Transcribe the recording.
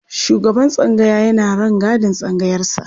Shugaban tsangaya yana rangadin tsangayarsa.